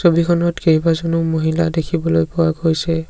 ছবিখনত কেইবাজনো মহিলা দেখিবলৈ পোৱা গৈছে।